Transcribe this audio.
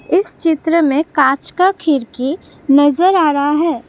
इस चित्र में कांच का खीड़की नजर आ रहा है।